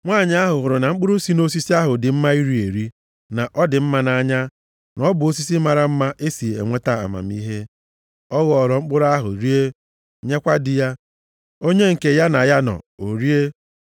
Nwanyị ahụ hụrụ na mkpụrụ si nʼosisi ahụ dị mma iri eri, na ọ dị mma nʼanya, na ọ bụ osisi mara mma e si enweta amamihe. Ọ ghọọrọ mkpụrụ ahụ rie, nyekwa di ya, onye nke na ya nọ, o rie.